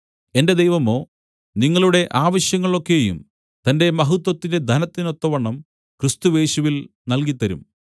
എന്റെ ദൈവമോ നിങ്ങളുടെ ആവശ്യങ്ങളൊക്കെയും തന്റെ മഹത്വത്തിന്റെ ധനത്തിനൊത്തവണ്ണം ക്രിസ്തുയേശുവിൽ നൽകിത്തരും